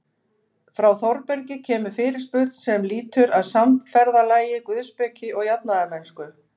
Frá Þórbergi kemur fyrirspurn sem lýtur að samferðalagi guðspeki og jafnaðarmennsku.